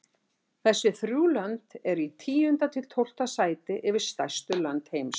Þessi þrjú lönd eru í tíunda til tólfta sæti yfir stærstu lönd heims.